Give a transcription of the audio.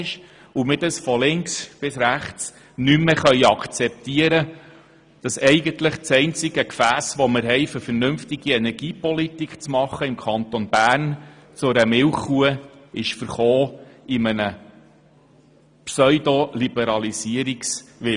Wir können es alle, von links bis rechts, nicht mehr akzeptieren, dass das einzige Gefäss, das wir im Kanton Bern haben, um eine vernünftige Energiepolitik zu betreiben, durch einen Pseudo-Liberalisierungswillen zu einer Milchkuh verkommen ist.